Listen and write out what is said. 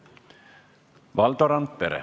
Valdo Randpere.